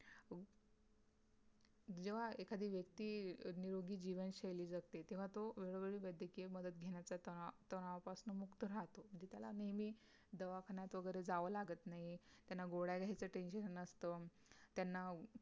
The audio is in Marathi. जेंव्हा एखादी व्यक्ती निरोगी जीवनशैली जगते तेव्हा तो वेळोवेळी वैद्यकीय मदत घेण्याचा ता तणावापासून मुक्त राहतो म्हणजे त्याला नेहमी दवाखान्यात वगैरे जावं लागत नाही त्यांना गोळ्या घ्यायचं TENSION नसत त्यांना